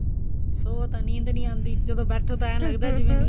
ਸੋਵੋ ਤਾਂ ਨੀਂਦ ਨੀ ਆਉਦੀ ਜਦੋਂ ਬੈਠੋ ਤਾਂ ਏਂ ਲੱਗਦਾ ਜਿਵੇਂ